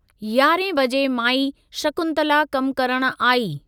यारहें बजे माई शकुंतला कमु करणु आई।